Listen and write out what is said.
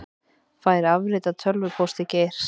Fær afrit af tölvupósti Geirs